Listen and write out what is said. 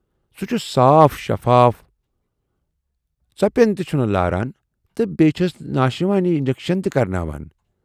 سُہ چھُ صاف شفاف، ژٔپٮ۪ن تہِ چھُنہٕ لاران تہٕ بییہِ چھَس نا شِوانی انجکشن تہِ کَرٕناوان۔